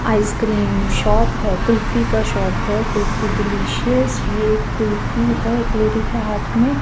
ice cream shop है कुल्फी का shop है कुल्फी डिलीशियस ये कुल्फी है एक लेडी के हाथ मे --